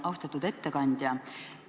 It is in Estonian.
Austatud ettekandja!